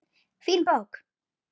Fín bók.